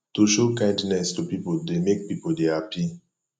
to show kindness to pipo dey make pipo de happy